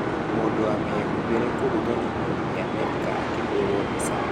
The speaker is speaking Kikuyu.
Mundu wa mĩhumbĩre kũgũthwo nĩ mũgithi Amerika, akĩhũũrũo mbica.